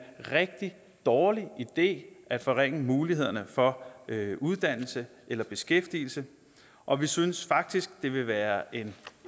rigtig dårlig idé at forringe mulighederne for uddannelse eller beskæftigelse og vi synes faktisk det vil være en